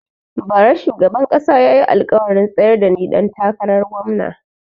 Ba ra shugaban kasa ya yi alkawarin tsayar da ni ɗan takarar gomna